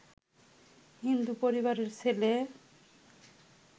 হিন্দু পরিবারের ছেলে